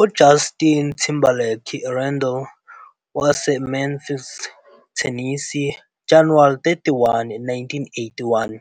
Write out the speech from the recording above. UJustin Timberlake Randall, wase-Memphis, Tennessee, January 31, 1981,